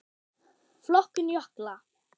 Flokkun jökla